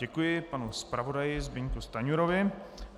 Děkuji panu zpravodaji Zbyňku Stanjurovi.